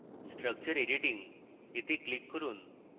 structure editing এ click করুন